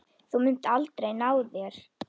Þú munt aldrei ná þér.